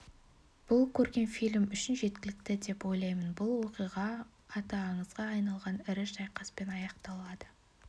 бұл көркем фильм үшін жеткілікті деп ойлаймын бұл оқиға аты аңызға айналған ірі шайқаспен аяқталады